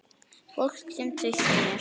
Fólk sem treysti mér.